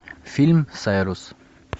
фильм сайрус